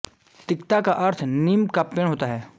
तिक्ता का अर्थ नीम का पेड़ होता है